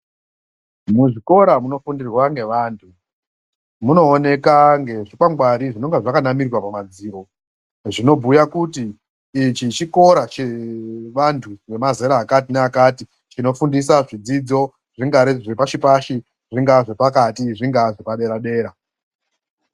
Muzvikora munofundirwa ngevantu munooneka ngezvikakwangwari zvinenge zvakanamirwa pamadziro zvinobhuya kuti ichi chikora chevantu vemazera akati neakati chinofundisa zvidzidzo zvingaa zvepashi pashi zvingaa zvepati zvingaa zvepadera.